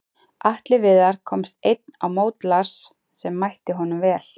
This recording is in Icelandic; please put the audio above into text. Atli Viðar komst einn á mót Lars sem mætti honum vel.